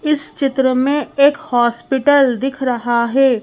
इस चित्र में एक हॉस्पिटल दिख रहा है।